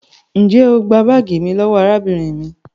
njẹ o gbà baagi mí lówó arábìnrin mí?